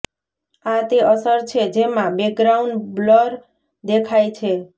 આ તે અસર છે જેમાં બેકગ્રાઉન્ડ બ્લર દેખાય છે